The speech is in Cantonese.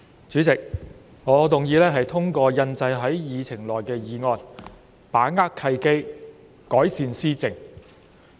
主席，我動議通過印載於議程內的議案"把握契機，改善施政"。